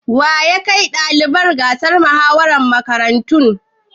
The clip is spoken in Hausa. Wa ya kai ɗalibai gasar muhawarar makarantu?